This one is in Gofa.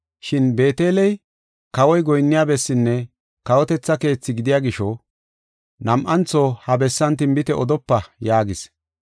Shin Beeteley kawoy goyinniya bessinne kawotetha keethi gidiya gisho, nam7antho ha bessan tinbite odopa” yaagis.